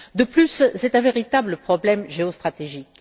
De plus, c'est un véritable problème géostratégique.